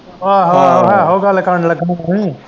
ਆਹੋ-ਆਹੋ ਗੱਲ ਕਰਨ ਲੱਗਾ ਮੈਂ ਤਾਂ ਹੀ।